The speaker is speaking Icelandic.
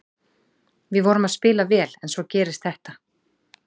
Við vorum að spila vel en svo gerist þetta.